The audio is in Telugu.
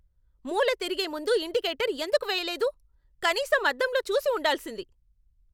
మూల తిరిగే ముందు ఇండికేటర్ ఎందుకు వెయ్యలేదు? కనీసం అద్దంలో చూసి ఉండాల్సింది.